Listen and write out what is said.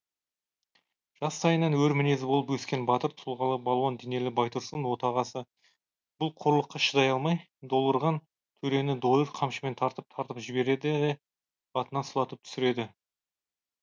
жастайынан өр мінезді болып өскен батыр тұлғалы балуан денелі байтұрсын отағасы бұл қорлыққа шыдай алмай долырған төрені дойыр қамшымен тартып тартып жібереді де атынан сұлатып түсіреді